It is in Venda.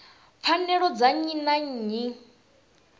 pfanelo dza nnyi na nnyi